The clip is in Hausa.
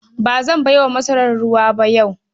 Ba zan bai wa masarar ruwa ba yau.